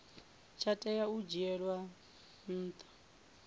tsha tea u dzhielwa nha